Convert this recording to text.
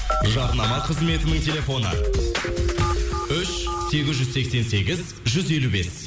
жарнама қызметінің телефоны үш сегіз жүз сексен сегіз жүз елу бес